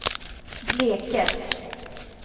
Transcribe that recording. Bleket